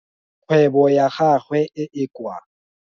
Kgwebo ya gagwe e e kwa.